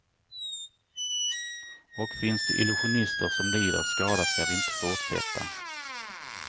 Och finns det illusionister som lider skada ska vi inte fortsätta.